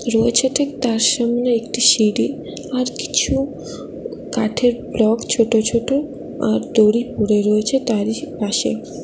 রয়েছে ঠিক তার সামনে একটি সিঁড়ি আর কিছু কাঠের ব্লক ছোট ছোট আর দড়ি পড়ে রয়েছে তারই পাশে।